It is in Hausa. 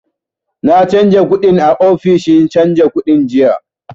Na canja kuɗin a ofishin canja kuɗi jiya